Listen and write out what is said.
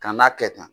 Kan'a kɛ tan